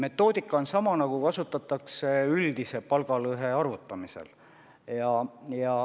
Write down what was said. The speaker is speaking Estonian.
Metoodika on sama, mida kasutatakse üldise palgalõhe arvutamisel.